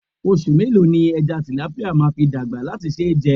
Oṣù mélòó ni ẹja tìlápíà máa fi dàgbà láti ṣe é jẹ?